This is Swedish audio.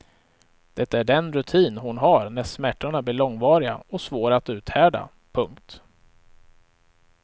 Det är den rutin hon har när smärtorna blir långvariga och svåra att uthärda. punkt